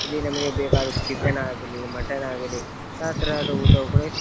ಇಲ್ಲಿ ನಮಗೆ ಬೇಕಾದ ಚಿಕನ್ ಆಗಲಿ ಮಟನ್ ಆಗಲಿ ಯಾವ ತರದ ಊಟ